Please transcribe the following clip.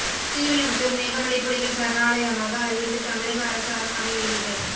ஸ்ரீவில்லிபுத்தூர் மேகமலை புலிகள் சரணாலயமாக அறிவித்து தமிழக அரசு அரசாணை வெளியீடு